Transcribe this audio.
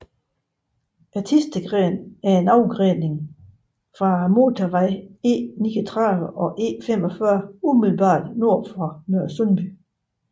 Thistedgrenen er en afgrening fra motorvej E39 og E45 umiddelbart nord for Nørresundby